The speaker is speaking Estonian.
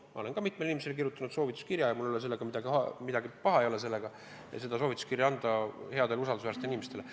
Ma olen ka mitmele inimesele kirjutanud soovituskirja ja midagi paha ei ole, kui selline soovituskiri anda heale usaldusväärsele inimesele.